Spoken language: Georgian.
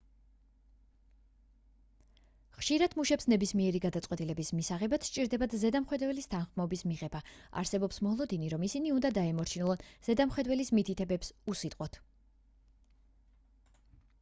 ხშირად მუშებს ნებისმიერი გადაწყვეტილების მისაღებად სჭირდებათ ზედამხედველების თანხმობის მიღება არსებობს მოლოდინი რომ ისინი უნდა დაემორჩილონ ზედამხედველის მითითებებს უსიტყვოდ